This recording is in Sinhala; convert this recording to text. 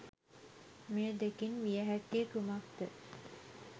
මේ දෙකින් විය හැක්කේ කුමක්ද?